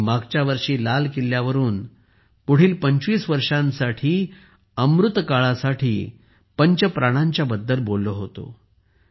मी मागच्या वर्षी लाल किल्ल्यावरून पुढील 25 वर्षांसाठी अमृतकालसाठी पंच प्रणांबद्दल बोललो होतो